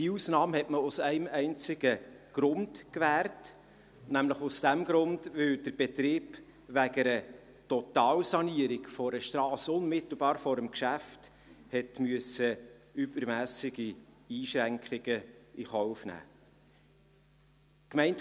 Diese Ausnahmen hat man aus einem einzigen Grund gewährt, nämlich deshalb, weil der Betrieb wegen einer Totalsanierung einer Strasse unmittelbar vor dem Geschäft übermässige Einschränkungen in Kauf nehmen musste.